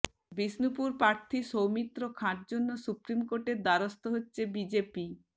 বিষ্ণুপুর প্রার্থী সৌমিত্র খাঁর জন্য সুপ্রিম কোর্টের দ্বারস্থ হচ্ছে বিজেপি